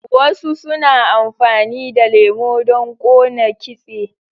Wasu suna amfani da lemo don kona kitse.